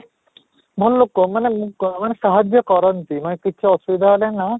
ଭଲ ଲୋକ ମାନେ ମୁଁ ମାନେ ସାହାଯ୍ୟ କରନ୍ତି ନୁହେଁ କିଛି ଅସୁବିଧା ହେଲେ ନା